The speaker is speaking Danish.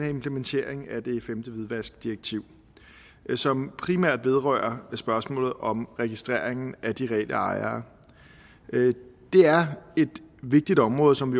implementering af det femte hvidvaskdirektiv som primært vedrører spørgsmålet om registreringen af de reelle ejere det er et vigtigt område som